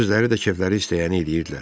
Özləri də kefləri istəyəni eləyirdilər.